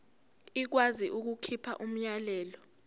ikwazi ukukhipha umyalelo